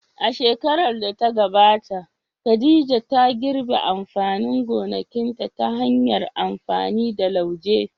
A shekarar da ta gabata, Khadija ta girbe amfanin gonakinta ta hanyar amfani da lauje.